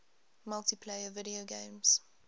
multiplayer video games